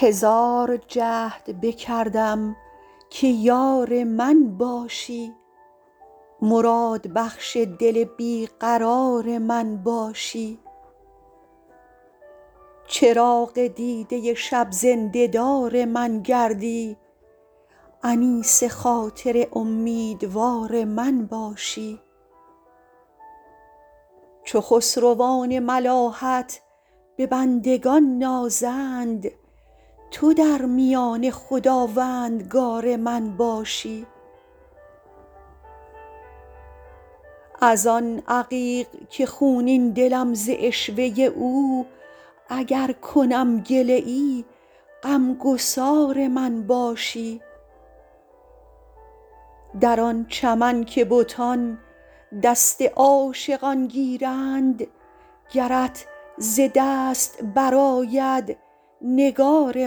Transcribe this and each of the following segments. هزار جهد بکردم که یار من باشی مرادبخش دل بی قرار من باشی چراغ دیده شب زنده دار من گردی انیس خاطر امیدوار من باشی چو خسروان ملاحت به بندگان نازند تو در میانه خداوندگار من باشی از آن عقیق که خونین دلم ز عشوه او اگر کنم گله ای غم گسار من باشی در آن چمن که بتان دست عاشقان گیرند گرت ز دست برآید نگار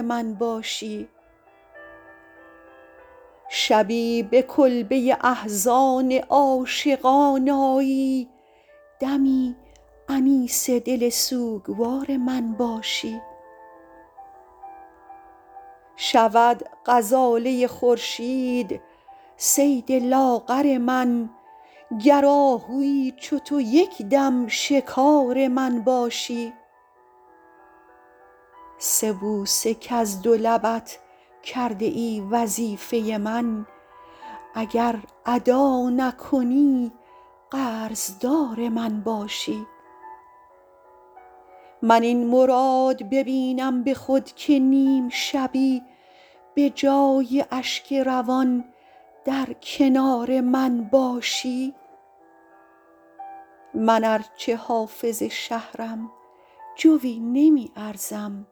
من باشی شبی به کلبه احزان عاشقان آیی دمی انیس دل سوگوار من باشی شود غزاله خورشید صید لاغر من گر آهویی چو تو یک دم شکار من باشی سه بوسه کز دو لبت کرده ای وظیفه من اگر ادا نکنی قرض دار من باشی من این مراد ببینم به خود که نیم شبی به جای اشک روان در کنار من باشی من ار چه حافظ شهرم جویی نمی ارزم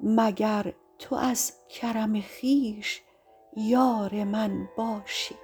مگر تو از کرم خویش یار من باشی